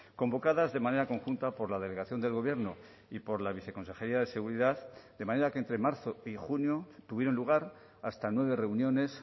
convocadas de manera conjunta por la delegación del gobierno y por la viceconsejería de seguridad de manera que entre marzo y junio tuvieron lugar hasta nueve reuniones